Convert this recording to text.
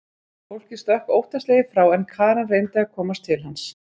Fólkið stökk óttaslegið frá en Karen reyndi að komast til hans.